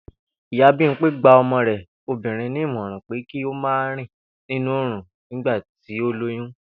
Ìyá Bímpé gba o̩mo̩ rè̩ obìnrin ní ìmò̩ràn pé kí ó má rìn nínú oòrùn nígbà tí ó lóyún